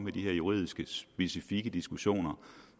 i de her juridiske specifikke diskussioner